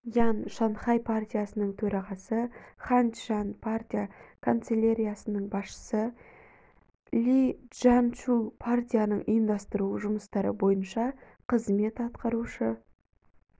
ян шанхай партиясының төрағасыхань чжан партия канцеляриясының басшысыли чжаньшу партияның ұйымдастыру жұмыстары бойынша қызмет атқарушы